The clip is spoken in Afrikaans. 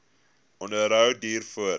onderhou duur voort